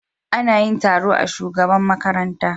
Ana yin taro a shugaban makaranta.